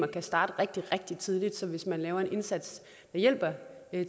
kan starte rigtig rigtig tidligt så hvis man laver en indsats og hjælper